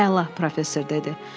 Əla, professor dedi.